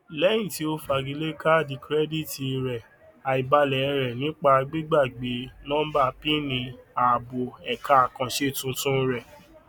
lẹyìn tí ó fagilé kaàdì kirẹdìtì rẹ àìbalẹ rẹ nípa gbígbàgbé nọńbà pin ààbò ẹka àkàǹṣe tuntun rẹ